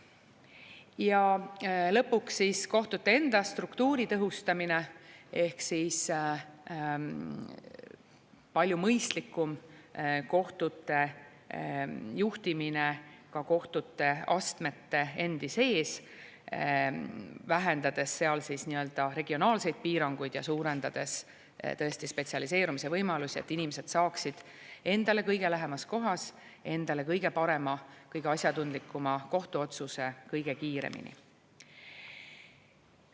Ja lõpuks siis kohtute enda struktuuri tõhustamine ehk palju mõistlikum kohtute juhtimine ka kohtuastmete endi sees, vähendades seal regionaalseid piiranguid ja suurendades spetsialiseerumise võimalusi, et inimesed saaksid endale kõige lähemas kohas kõige parema, kõige asjatundlikuma kohtuotsuse kõige kiiremini.